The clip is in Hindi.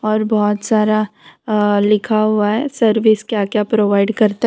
और बहुत सारा अअ लिखा हुआ है सर्विस क्या क्या प्रोवाइड करता है।